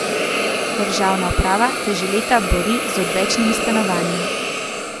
Državna uprava se že leta bori z odvečnimi stanovanji.